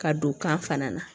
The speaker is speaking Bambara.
Ka don kan fana na